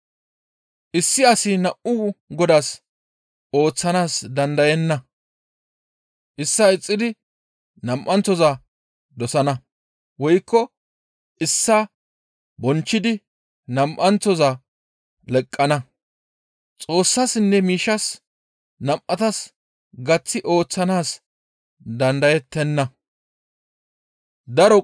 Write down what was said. «Issi asi nam7u godaas ooththana dandayenna. Issaa ixxidi nam7anththoza dosana; woykko issaa bonchchidi nam7anththoza leqqana; Xoossassinne miishshas nam7atas gaththi ooththanaas dandayettenna.